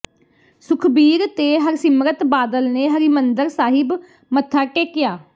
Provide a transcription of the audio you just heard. ਸੁਖਬੀਰ ਤੇ ਹਰਸਿਮਰਤ ਬਾਦਲ ਨੇ ਹਰਿਮੰਦਰ ਸਾਹਿਬ ਮੱਥਾ ਟੇਕਿਆ